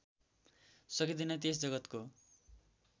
सकिँदैन त्यस जगतको